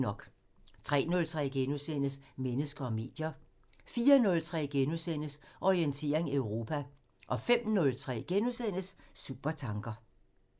03:03: Mennesker og medier * 04:03: Orientering Europa * 05:03: Supertanker *